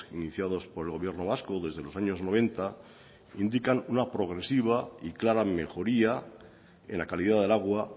iniciados por el gobierno vasco desde los años noventa indican una progresiva y clara mejoría en la calidad del agua